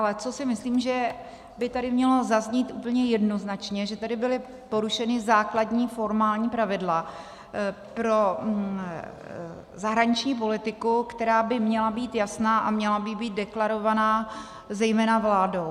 Ale co si myslím, že by tady mělo zaznít úplně jednoznačně, že tady byla porušena základní formální pravidla pro zahraniční politiku, která by měla být jasná a měla by být deklarovaná zejména vládou.